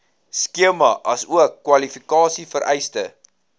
skema asook kwalifikasievereistes